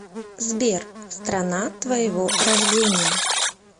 сбер страна твоего рождения